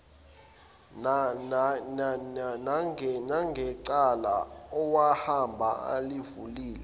nangecala owahamba ulivulile